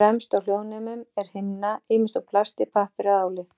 Fremst á hljóðnemum er himna, ýmist úr plasti, pappír eða áli.